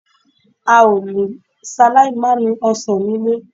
A ò le ṣaláì mànìí ọ̀sán nílé